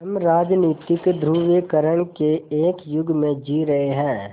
हम राजनीतिक ध्रुवीकरण के एक युग में जी रहे हैं